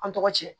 An tɔgɔ cɛ